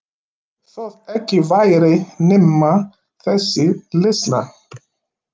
Þótt ekki væri nema þessi leiðsla.